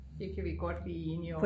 det kan vi godt blive enige om